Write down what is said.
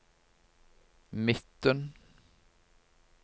midten